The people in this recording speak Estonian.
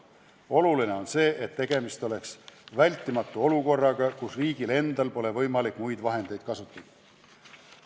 Oluline on, et tegemist oleks olukorraga, kus riigil endal pole võimalik muid vahendeid kasutada.